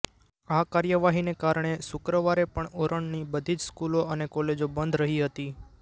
આ કાર્યવાહીને કારણે શુક્રવારે પણ ઉરણની બધી જ સ્કૂલો અને કોલેજો બંધ રહી હતી